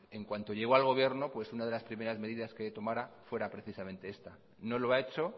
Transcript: en cuanto llegó al gobierno pues una de las primeras medidas que tomara fuera precisamente esta no lo ha hecho